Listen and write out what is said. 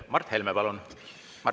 Mart Helme, palun!